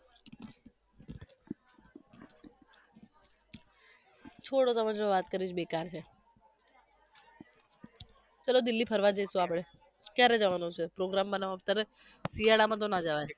છોડો તમારી જોડે વાત કરવી જ બેકાર છે ચલો દિલ્હી ફરવા જઈશુ આપણે ક્યારે જવાનું છે? program બનાવો તમે શિયાળામાં તો ના જવાય